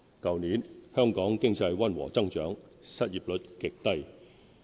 去年，香港經濟溫和增長，失業率極低。